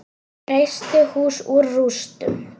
Reisti hús úr rústum.